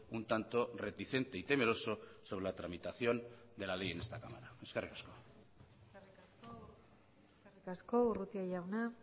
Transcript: un tanto reticente y temeroso sobre la tramitación de la ley en esta cámara eskerrik asko eskerrik asko urrutia jauna